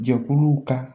Jɛkuluw ka